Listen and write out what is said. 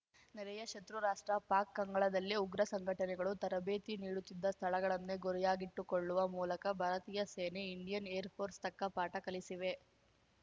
ನೆರೆಯ ಶತೃ ರಾಷ್ಟ್ರ ಪಾಕ್‌ ಅಂಗಳದಲ್ಲೇ ಉಗ್ರ ಸಂಘಟನೆಗಳು ತರಬೇತಿ ನೀಡುತ್ತಿದ್ದ ಸ್ಥಳಗಳನ್ನೇ ಗುರಿಯಾಗಿಟ್ಟುಕೊಳ್ಳುವ ಮೂಲಕ ಭಾರತೀಯ ಸೇನೆ ಇಂಡಿಯನ್‌ ಏರ್‌ ಫೋರ್ಸ್ ತಕ್ಕ ಪಾಠ ಕಲಿಸಿವೆ